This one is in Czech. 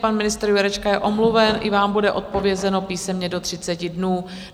Pan ministr Jurečka je omluven, i vám bude odpovězeno písemně do 30 dnů.